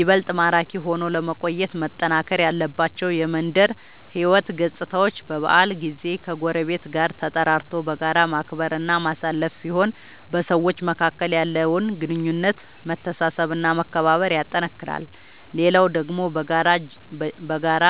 ይበልጥ ማራኪ ሆኖ ለመቆየት መጠናከር ያለባቸው የመንደር ሕይወት ገፅታዎች በበዓል ጊዜ ከጎረቤት ጋር ተጠራርቶ በጋራ ማክበር እና ማሳለፍ ሲሆን በሰዎች መካከል ያለውን ግንኙነት መተሳሰብ እና መከባበር ያጠነክራል። ሌላው ደግሞ በጋራ